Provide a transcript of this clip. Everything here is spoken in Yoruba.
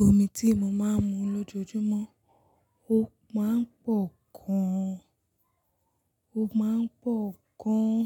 Omi tí mo máa ń mu lójoojúmọ́, ó máa ń pọ̀ gan. Ó máa ń pọ̀ gan.